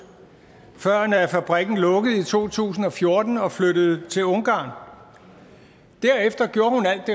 før fabrikken lukkede i to tusind og fjorten og flyttede til ungarn derefter gjorde hun alt det